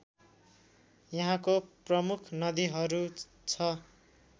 यहाँको प्रमुख नदीहरू छ